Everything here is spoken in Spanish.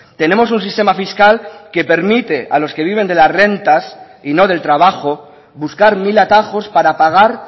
tenemos un sistema fiscal que permite a los que viven de las rentas y no del trabajo buscar mil atajos para pagar